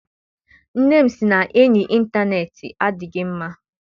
Nne m sị na enyi intaneeti adịghị mma.